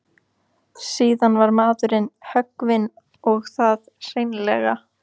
Síðan var maðurinn höggvinn og það hreinlega.